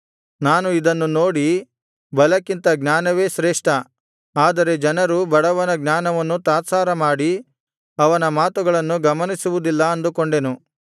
ನಾನು ಇದನ್ನು ನೋಡಿ ಬಲಕ್ಕಿಂತ ಜ್ಞಾನವೇ ಶ್ರೇಷ್ಠ ಆದರೆ ಜನರು ಬಡವನ ಜ್ಞಾನವನ್ನು ತಾತ್ಸಾರ ಮಾಡಿ ಅವನ ಮಾತುಗಳನ್ನು ಗಮನಿಸುವುದಿಲ್ಲ ಅಂದುಕೊಂಡೆನು